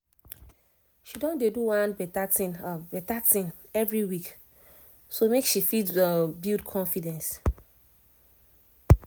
she don dey do one better thing better thing every week so make she fit build confidence